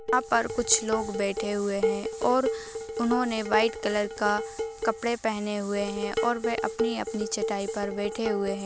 यहाँ पर कुछ लोग बैठे हुए हैं और उन्होंने व्हाइट कलर का कपड़े पहने हुए हैं और वह अपनी-अपनी चटाई पर बैठे हुए हैं।